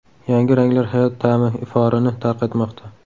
Yangi ranglar hayot ta’mi iforini tarqatmoqda.